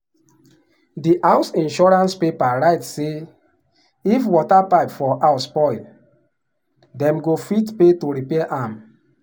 di house insurance paper write say if water pipe for house spoil dem go fit pay to repair am.